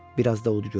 Bir az da ud görək,